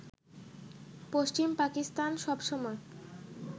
পশ্চিম পাকিস্তান সবসময়